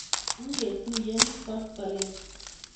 ngetuiye koskoleny